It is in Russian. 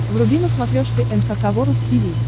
вруби на смотрешке эн эйч кей волд ти ви